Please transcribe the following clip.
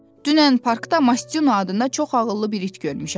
Dünən parkda Mastuna adında çox ağıllı bir it görmüşəm.